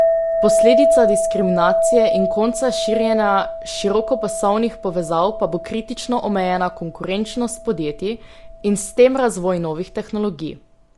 Posledica diskriminacije in konca širjenja širokopasovnih povezav pa bo kritično omejena konkurenčnost podjetij in s tem razvoj novih tehnologij.